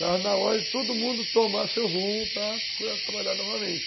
Estava na hora de todo mundo tomar seu rumo para procurar trabalhar novamente.